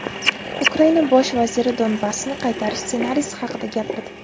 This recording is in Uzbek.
Ukraina bosh vaziri Donbassni qaytarish ssenariysi haqida gapirdi.